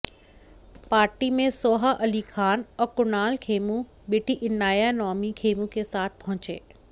party में सोहा अली खान और कुणाल खेमू बेटी इनाया नौमी खेमू के साथ पहुंचे